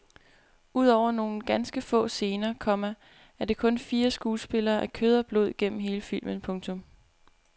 Udover nogle ganske få scener, komma er det kun fire skuespillere af kød og blod gennem hele filmen. punktum